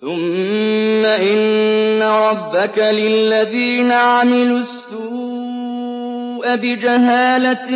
ثُمَّ إِنَّ رَبَّكَ لِلَّذِينَ عَمِلُوا السُّوءَ بِجَهَالَةٍ